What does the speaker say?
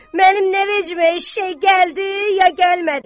Mənim nə vecimə eşşəy gəldi ya gəlmədi.